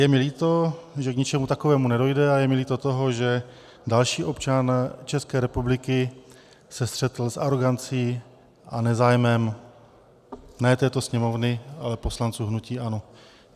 Je mi líto, že k ničemu takovému nedojde, a je mi líto toho, že další občan České republiky se střetl s arogancí a nezájmem ne této Sněmovny, ale poslanců hnutí ANO.